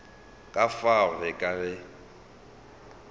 ka fao re ka re